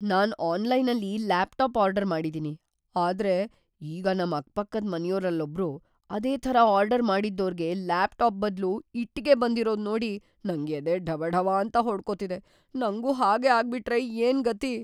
ನಾನ್ ಆನ್ಲೈನಲ್ಲಿ laptop order ಮಾಡಿದೀನಿ, ಆದ್ರೆ ಈಗ ನಮ್ ಅಕ್ಕಪಕ್ಕದ್‌ ಮನೆಯೋರಲ್ಲೊಬ್ರು ಅದೇ ಥರ ಆರ್ಡರ್‌ ಮಾಡಿದ್ದೋರ್ಗೆ ಲ್ಯಾಪ್ಟಾಪ್‌ ಬದ್ಲು ಇಟ್ಟಿಗೆ ಬಂದಿರೋದ್‌ ನೋಡಿ ನಂಗ್‌ ಎದೆ ಢವಢವಾಂತ ಹೊಡ್ಕೊತಿದೆ, ನಂಗೂ ಹಾಗೇ ಆಗ್ಬಿಟ್ರೆ ಏನ್‌ ಗತಿ!